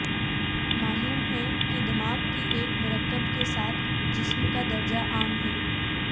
معلوم ہے کہ دماغ کی ایک مرکب کے ساتھ جسم کا درجہ عام ہے